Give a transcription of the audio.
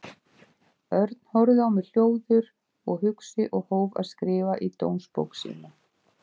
Örn horfði á mig hljóður og hugsi og hóf að skrifa í dómsbók sína.